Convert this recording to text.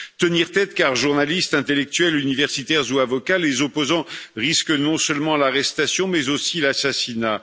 Tenir tête car, journalistes, intellectuels, universitaires ou avocats, les opposants risquent non seulement l'arrestation, mais aussi l'assassinat.